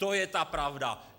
To je ta pravda.